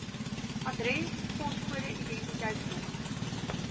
adres poskode identiteitsnommer